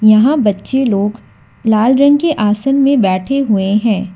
यहां बच्चे लोग लाल रंग के आसन में बैठे हुए हैं।